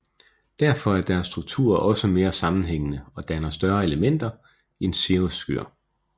Derfor er deres struktur også mere sammenhængende og danner større elementer end cirrusskyer